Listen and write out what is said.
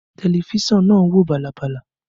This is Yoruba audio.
Tẹlifísàn náà ń wò bàlàbàlà